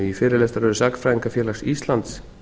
í fyrirlestraröð sagnfræðingafélags íslands